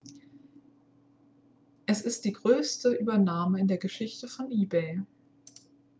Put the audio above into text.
es ist die größte übernahme in der geschichte von ebay